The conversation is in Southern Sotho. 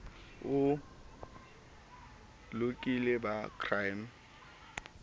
o lokile ba crime stop